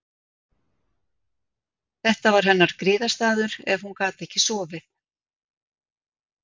Þetta var hennar griðastaður ef hún gat ekki sofið.